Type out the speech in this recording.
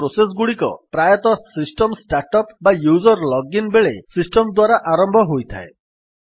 ଏହି ପ୍ରୋସେସ୍ ଗୁଡିକ ପ୍ରାୟତଃ ସିଷ୍ଟମ୍ ଷ୍ଟାର୍ଟ୍ ଅପ୍ ବା ୟୁଜର୍ ଲଗ୍ ଇନ୍ ବେଳେ ସିଷ୍ଟମ୍ ଦ୍ୱାରା ଆରମ୍ଭ ହୋଇଥାଏ